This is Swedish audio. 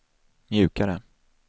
mjukare